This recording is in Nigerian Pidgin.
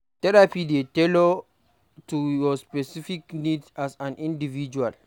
Therapy dey tailored to your specific need as an individual